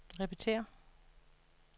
repetér